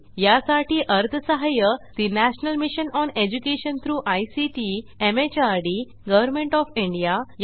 यासाठी अर्थसहाय्य national mission on education through ICT MHRD government of India यांच्याकडून मिळालेले आहे